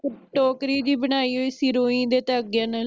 ਟੋਕਰੀ ਜੀ ਬਣਾਈ ਹੋਈ ਸੁ ਰੂਈ ਦੇ ਧਾਗਿਆਂ ਨਾਲ